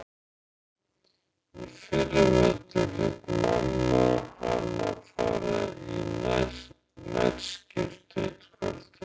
Í fyrravetur lét mamma hana fara í nærskyrtu eitt kvöldið.